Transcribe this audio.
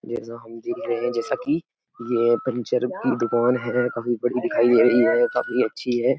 ये जो हम देख रहे है जैसा कि ये पंचर की दुकान है। काफी बड़ी दिखाई दे रही है काफी अच्छी है।